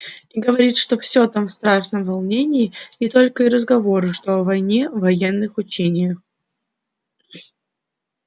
и говорит что всё там в страшном волнении и только и разговору что о войне военных учениях